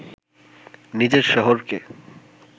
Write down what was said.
নিজের শহরকে